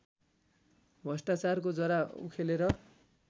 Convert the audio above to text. भ्रष्टाचारको जरा उखेलेर